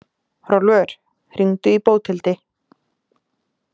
Hrólfur, hringdu í Bóthildi.